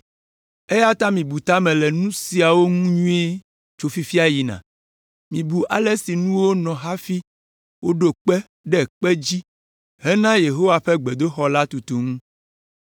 “ ‘Eya ta, mibu ta me le nu siawo ŋu nyuie tso fifia yina, mibu ale si nuwo nɔ hafi woɖo kpe ɖe kpe dzi hena Yehowa ƒe gbedoxɔ la tutu ŋu.